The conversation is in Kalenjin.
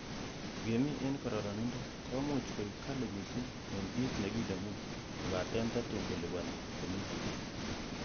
Ingemin en kororonindo komuch koik kali missing en kit nekinemu, kobaten tatun koliponi komie.